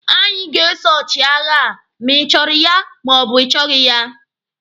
Anyị ga-eso ọchịagha a ma ịchọrọ ya ma ọ bụ ị chọghị ya!